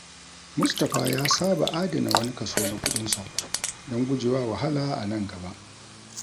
Mustapha ya saba adana wani kaso na kuɗinsa don gujewa wahala a nan gaba.